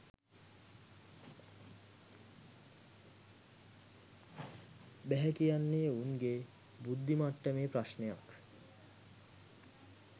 බැහැ කියන්නේ උන්ගේ බුද්දි මට්ටමේ ප්‍රශ්නයක්